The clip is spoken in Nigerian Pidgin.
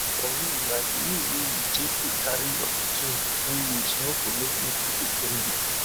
for real like the way wey you take dey carry your pikin in new ways no go make nipple dey pain you